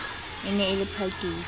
e ne e le phakiso